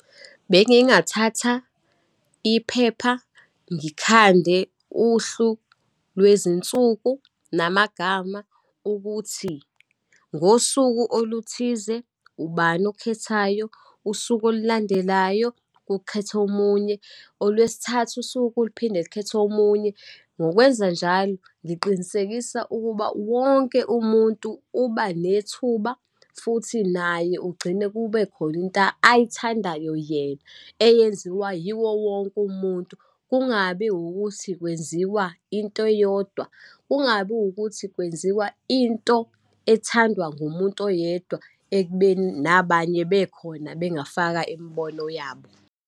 Bengingathatha iphepha ngikhande uhlu lwezinsuku, namagama ukuthi ngosuku oluthize ubani okhethayo, usuku olulandelayo kukhethe omunye, olwesithathu usuke liphinde likhethe omunye. Ngokwenzanjalo ngiqinisekisa ukuba wonke umuntu ubanethuba, futhi naye ugcine kube khona into ayithandayo yena eyenziwa yiwo wonke umuntu. Kungabi ukuthi kwenziwa into eyodwa, kungabi ukuthi kwenziwa into ethandwa ngumuntu oyedwa, ekubeni nabanye bekhona bengafaka imibono yabo.